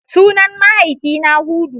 Sunan mahaifina Hudu.